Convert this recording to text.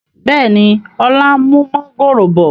Bẹ́ẹ̀ni, ọlá ń mú mọ̀ngòrò bọ̀